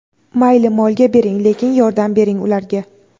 mayli molga bering lekin yordam bering ularga.